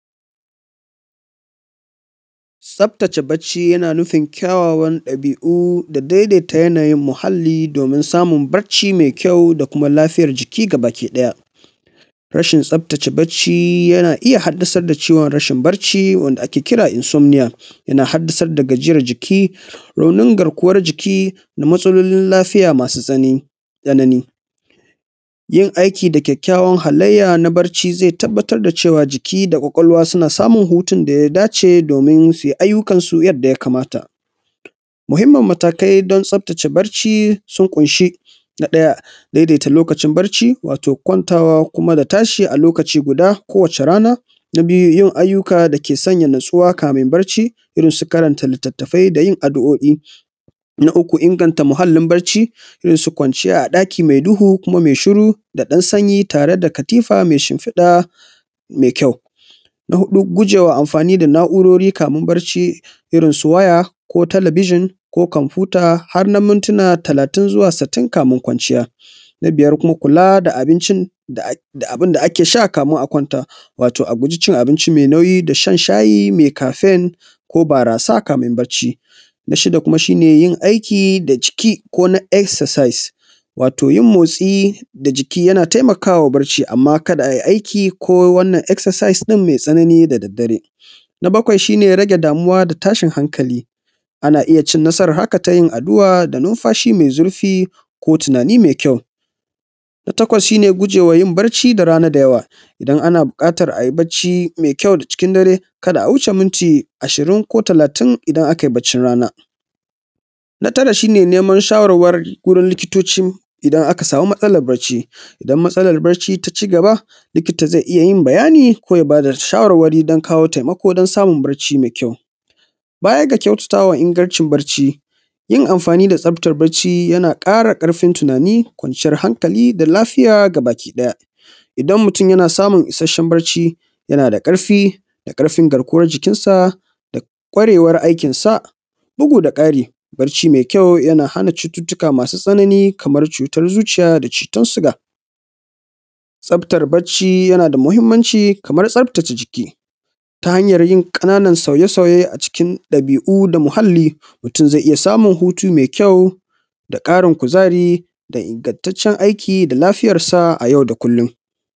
Ttaftace bacci yana nufin kyawawan ɗabi’u da dai dai natsuwan muhalli domin samun bacci mai kyau da kuma lafiya jiki kamar yadda rashin tsaftace bacci yana iya haddadar da ciwon rashin barci wanda insommiyta yana haddasar da gajiyar jiki, raunin garkuwan jiki da matsalolin lafiya masu zani tsanani yin aiki da kyawawan dabi’a na bacci ze tabbatar da cewa jiki da kwakwalwa suna samun hutun da ya dace domin suyi ayyukan su yadda ya kamata. Muhinmin matakai don tsaftace bacci sun ƙunshi na ɗaya daitaita lokacin bacci wato kwantawa da tashi a lokaci guda kowace rana, yin ayyuka dake sanya natsuwa kafun bacci irin su karanta litattafai da yin adu’o’i na inganta muhallin bacci irin su kwanciya a ɗaki mai duhu kuma me ɗan sanyi tare da katifa me shinfiɗa me kyau. Na huɗu guje ma anfani da na’urori kafun bacci kaman su waya ko talabijin ko komfuyuta har na mintina talatin zuwa sittin kafun kwanciya. Na biyar kuma kula da abincin da abin da ake sha kafun a kwanta wato a ku ji shan abinci me nauyi da shan shayi me kafen ko barasa kafun bacci. Na shida kuma shi ne yin aiki da jiki ko na exercise wato yin motsi da jiki yana taimakawa bacci amma ka da a yi aiki ko wannan exercise me tsanani da daddare. Na bakwai shi ne rage damuwa, tashin hakali a na iya yin haka ta yin addu’a da numfashi me zurfi ko tunani me kyau. Na takwas shi ne gujewa yin bacci da rana me kyau idan ana buƙatan a yi bacci me kyau da cikin dare ka da a wuce minti ashirin ko talatin a baccin rana. Na tara shi ne neman shawarwari wurin likitoci idan aka ɗau matsalar bacci, idan matsalar bacci ta ci gaba likita ze iya yin bayani ko ya ba da shawarwari don kawo taimako don samun bacci mai kyau baya ga kyautata wa ingancin bacci yin amfani da tsaftar bacci yana ƙara ƙarfin tunani, kwanciyan hankali da lafiya gabakiɗaya, idan mutum yana samun ishashen bacci yana da ƙarfi da ƙarfin jikinsa da kwarewar aikinsa bugu da ƙari barci me kyau yana hana cututtuka masu tsanani kamar cutar zuciya da cutar zuciya tsaftar bacci yana da mahinmaci kamar tsaftace jiki ta hanyan yin ƙanan soye-soye. A cikin ɗabi’u da muhalli mutum ze ya samun hutu me kyau da ƙarin kuzari da ingantaccen aiki da lafiyarsa a yau da kullum.